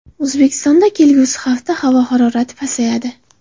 O‘zbekistonda kelgusi hafta havo harorati pasayadi.